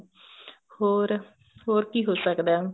ਹੋਰ ਹੋਰ ਕਿ ਹੋ ਸਕਦਾ